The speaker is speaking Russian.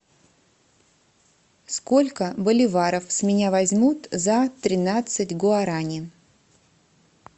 сколько боливаров с меня возьмут за тринадцать гуарани